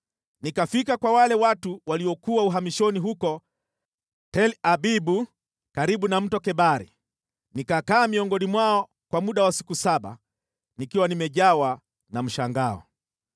Nikafika kwa wale watu waliokuwa uhamishoni huko Tel-Abibu karibu na Mto Kebari. Nikakaa miongoni mwao kwa muda wa siku saba, nikiwa nimejawa na mshangao.